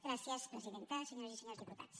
gràcies presidenta senyores i senyors diputats